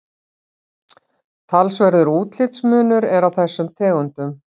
Talsverður útlitsmunur er á þessum tegundum.